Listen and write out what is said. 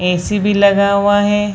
AC. भी लगा हुआ है।